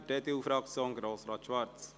für die EDU-Fraktion, Grossrat Schwarz.